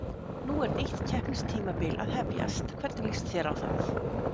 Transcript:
Nú er nýtt keppnistímabil að hefjast, hvernig líst þér á það?